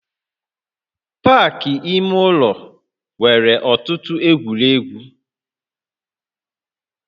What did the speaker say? Pak ime ụlọ nwere ọtụtụ egwuregwu